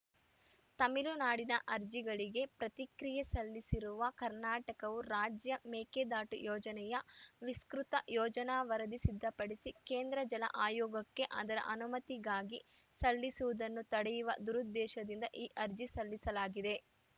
ತಮಿಳುನಾಡಿನ ಅರ್ಜಿಗಳಿಗೆ ಪ್ರತಿಕ್ರಿಯೆ ಸಲ್ಲಿಸಿರುವ ಕರ್ನಾಟಕವು ರಾಜ್ಯ ಮೇಕೆದಾಟು ಯೋಜನೆಯ ವಿಸ್ತೃತ ಯೋಜನಾ ವರದಿ ಸಿದ್ಧಪಡಿಸಿ ಕೇಂದ್ರ ಜಲ ಆಯೋಗಕ್ಕೆ ಅದರ ಅನುಮತಿಗಾಗಿ ಸಲ್ಲಿಸುವುದನ್ನು ತಡೆಯುವ ದುರುದ್ದೇಶದಿಂದ ಈ ಅರ್ಜಿ ಸಲ್ಲಿಸಲಾಗಿದೆ